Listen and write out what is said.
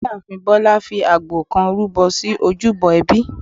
ìyáàfín Bolá fi àgbò kán rúbọ sí ojúbọ ẹbí.